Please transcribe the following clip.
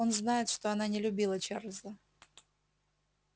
он знает что она не любила чарлза